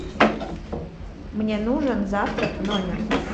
мне нужен завтрак в номер